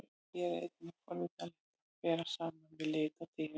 Hér er einnig forvitnilegt að bera saman við lit á dýrum.